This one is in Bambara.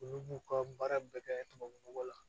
Olu b'u ka baara bɛɛ kɛ tubabu nɔgɔ la